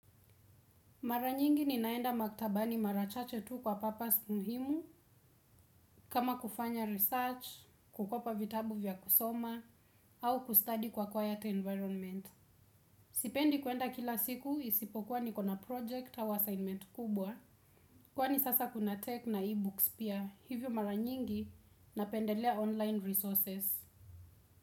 Mara nyingi ninaenda maktabani mara chache tu kwa purpose muhimu, kama kufanya research, kukopa vitabu vya kusoma, au kustadi kwa quiet environment. Sipendi kwenda kila siku isipokuwa nikona project au assignment kubwa. Kwani sasa kuna tech na e-books pia, hivyo mara nyingi napendelea online resources.